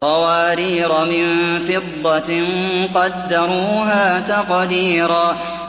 قَوَارِيرَ مِن فِضَّةٍ قَدَّرُوهَا تَقْدِيرًا